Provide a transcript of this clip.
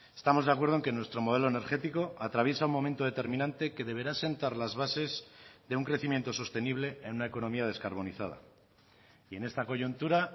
estamos de acuerdo en que nuestro modelo energético atraviesa un momento determinante que deberá asentar las bases de un crecimiento sostenible en una economía descarbonizada y en esta coyuntura